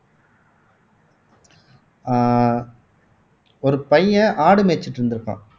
அஹ் ஒரு பையன் ஆடு மேய்ச்சுட்டு இருந்திருப்பான்